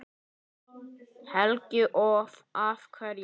Helga: Og af hverju?